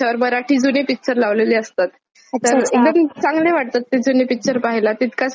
एकदम चांगले वाटतात ते अच्छा छान वाटतात ते जुने पिक्चर पाहायला तितकाच जेवतांना टाइमपास पण होतो.